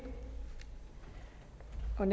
er